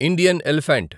Indian elephant